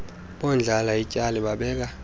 bondlala ityali babeka